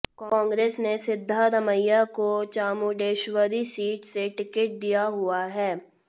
कांग्रेस ने सिद्धारमैया को चामुंडेश्वरी सीट से टिकट दिया हुआ है